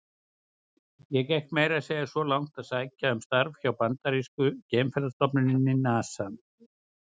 Ég gekk meira að segja svo langt að sækja um starf hjá bandarísku geimferðastofnuninni, NASA.